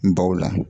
N baw la